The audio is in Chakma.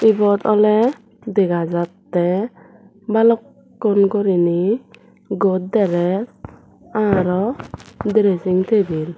ibot awle dega jatte balukkun gurinei goderes araw dresing tebil.